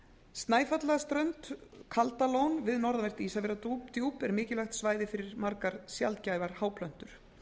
snæfjallaströnd kaldalón við norðanvert ísafjarðardjúp er mikilvægt svæði fyrir margar sjaldgæfar háplöntur